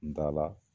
N da la